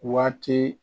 Waati